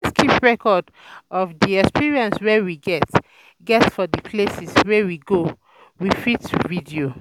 To fit keep record of di um experience wey we get um get um for di places wey we go, we um fit video